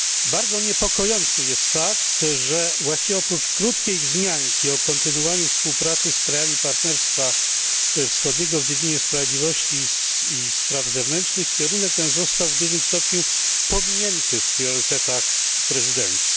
Bardzo niepokojący jest fakt, że właściwie oprócz krótkiej wzmianki o kontynuowaniu współpracy z krajami Partnerstwa Wschodniego w dziedzinie sprawiedliwości i spraw zewnętrznych, kierunek ten został w dużym stopniu pominięty w priorytetach prezydencji.